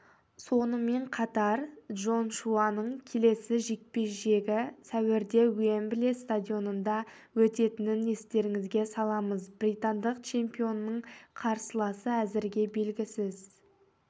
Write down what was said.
сонымен қатар джошуаның келесі жекпе-жегі сәуірде уэмбли стадионында өтетінін естеріңізге саламыз британдық чемпионның қарсыласы әзірге белгісіз